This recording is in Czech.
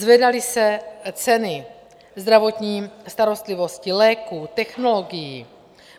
Zvedaly se ceny zdravotní starostlivosti, léků, technologií.